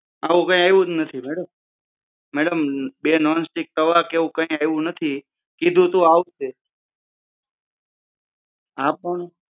આમાં કંઈ આવ્યું જ નથી મેડમ મેડમ બે નોંસ્ટીક કવર કે એવું કય આવી જ નથી કીધું તું આવશે હા પણ